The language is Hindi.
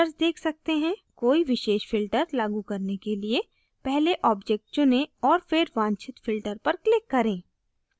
कोई विशेष filter लागू करने के लिए पहले object चुनें और फिर वांछित filter पर click करें